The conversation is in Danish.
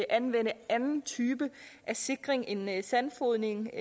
anvende anden type af sikring end sandfodring